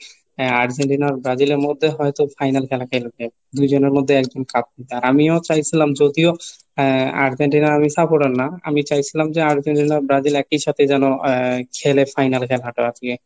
হ্যাঁ, আর্জেন্টিনা ব্রাজিলের মধ্যে হয়তো final খেলা খেলবে দুইজনের মধ্যে একজন কাপুরুষ. আমিও চাইছিলাম যদিও আর্জেন্টিনার আমি supporter না। আমি চাইছিলাম যে আর্জেন্টিনা ব্রাজিল একই সাথে যেন আহ খেলে final এ খেলাটা আজকে.